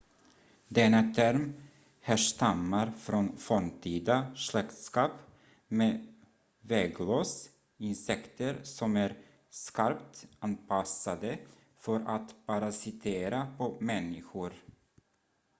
denna term härstammar från forntida släktskap med vägglöss insekter som är skarpt anpassade för att parasitera på människor